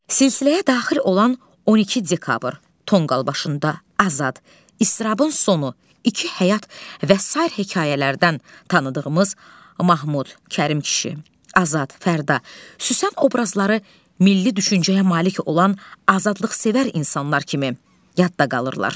Silsiləyə daxil olan 12 dekabr, Tonqal başında, Azad, İstrabın sonu, İki həyat və sair hekayələrdən tanıdığımız Mahmud, Kərim kişi, Azad, Fərda, Süsen obrazları milli düşüncəyə malik olan azadlıqsevər insanlar kimi yadda qalırlar.